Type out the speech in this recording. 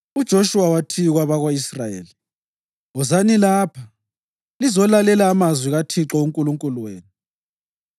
UJoshuwa wathi kwabako-Israyeli, “Wozani lapha lizolalela amazwi kaThixo uNkulunkulu wenu.